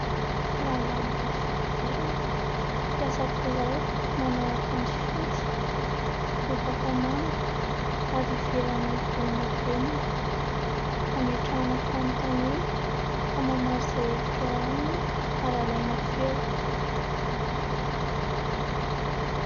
Rangahy mainty fihodirana, mpiasa birao, manao akanjo fotsy, lobaka manga ary ivelany volondavenona, hametrahana fanontaniana ka mamaly izay hevitra ao aminy ary alaina feo.